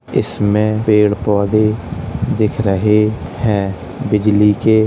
इसमें पेड़ पौधे दिख रहे हैं। बिजली के --